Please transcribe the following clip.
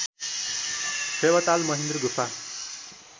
फेवाताल महेन्द्र गुफा